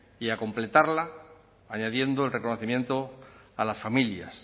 y a completarla añadiendo el reconocimiento a las familias